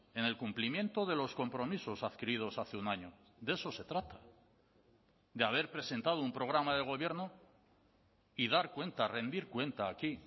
en el cumplimiento de los compromisos adquiridos hace un año de eso se trata de haber presentado un programa de gobierno y dar cuenta rendir cuenta aquí